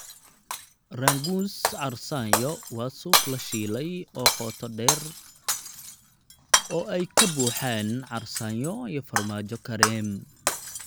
Rangoons carsaanyo waa suuf la shiilay oo qoto dheer oo ay ka buuxaan carsaanyo iyo farmaajo kareem.